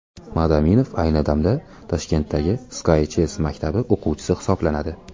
Madaminov ayni damda Toshkentdagi Sky Chess maktabi o‘quvchisi hisoblanadi.